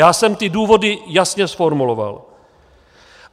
Já jsem ty důvody jasně zformuloval.